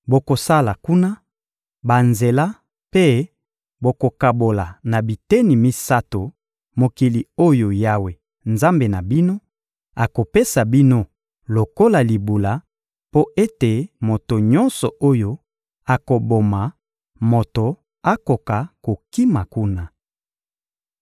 Bokosala kuna banzela mpe bokokabola na biteni misato, mokili oyo Yawe, Nzambe na bino, akopesa bino lokola libula mpo ete moto nyonso oyo akoboma moto akoka kokima kuna.